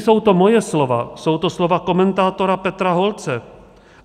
Nejsou to moje slova, jsou to slova komentátora Petra Holce.